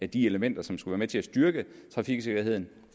de elementer som skulle være med til at styrke trafiksikkerheden